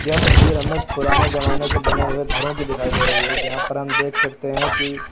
यह तस्वीर हमें पुराने जमाने के बने हुए घरों की दिखाई दे रही है जहां पर हम देख सकते हैं कि--